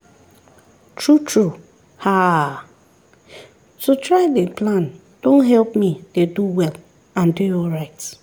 true true haaa to try dey plan don help me dey do well and dey alright